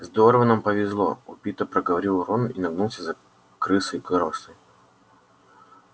здорово нам повезло убито проговорил рон и нагнулся за крысой коростой